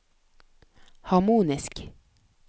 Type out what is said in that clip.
harmonisk